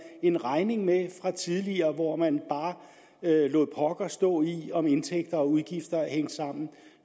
en regning med fra tidligere hvor man bare lod pokker stå i om indtægter og udgifter hængte sammen